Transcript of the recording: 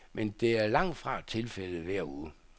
Men det er langt fra tilfældet hver uge.